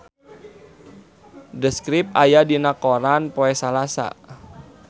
The Script aya dina koran poe Salasa